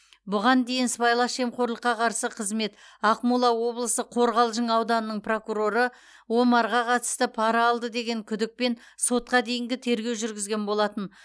бұған дейін сыбайлас жемқорлыққа қарсы қызмет ақмола облысы қорғалжың ауданының прокуроры омарға қатысты пара алды деген күдікпен сотқа дейінгі тергеу жүргізген болатын